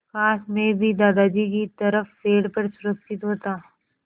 काश मैं भी दादाजी की तरह पेड़ पर सुरक्षित होता